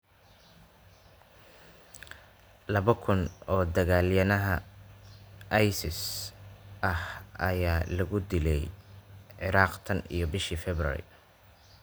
Laba kun oo dagaalyahanada IS ah ayaa lagu dilay Ciraaq tan iyo bishii February